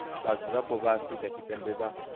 vhadzulapo vha afrika tshipembe vha